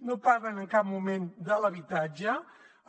no parlen en cap moment de l’habitatge